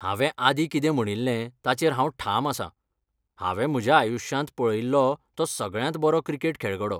हांवें आदीं कितें म्हणिल्लें ताचेर हांव ठाम आसां, हांवें म्हज्या आयुश्यांत पळयिल्लो तो सगळ्यांत बरो क्रिकेट खेळगडो.